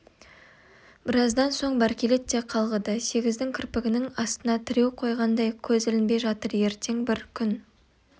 біраздан соң бәркелет те қалғыды сегіздің кірпігінің астына тіреу қойғандай көзі ілінбей жатыр ертең бір күн